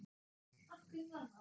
Af hverju var það?